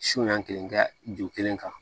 Suya kelen kɛ ju kelen ka